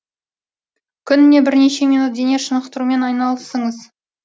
күніне бірнеше минут дене шынықтырумен айналысыңыз